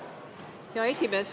Hea esimees!